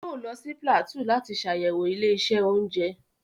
Yóò lọ sí Plateau láti sàyẹ̀wò ilé-iṣẹ́ oúnjẹ.